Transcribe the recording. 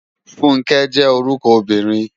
Funke jè órúkò óbìrín